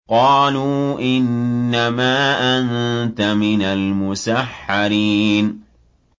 قَالُوا إِنَّمَا أَنتَ مِنَ الْمُسَحَّرِينَ